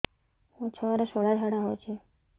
ମୋ ଛୁଆର ସୁଳା ଝାଡ଼ା ହଉଚି